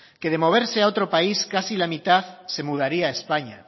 que de moverse a otro país casi la mitad se mudaría a españa